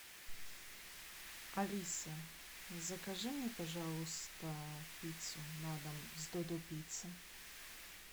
алиса закажи мне пожалуйста пиццу на дом с додо пицца